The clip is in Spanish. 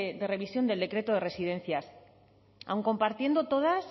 de revisión del decreto de residencias aun compartiendo todas